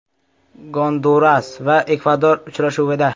Gonduras va Ekvador uchrashuvida.